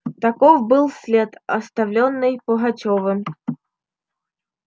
таков был след оставлённый пугачёвым